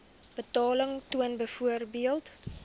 betaling toon byvoorbeeld